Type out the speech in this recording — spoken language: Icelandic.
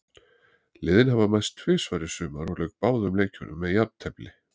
Liðin hafa mæst tvisvar í sumar og lauk báðum leikjunum með jafntefli.